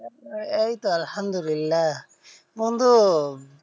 এই তো আল্লাহামদুল্লিলাহ বন্ধু